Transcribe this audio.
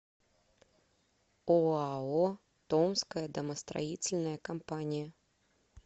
оао томская домостроительная компания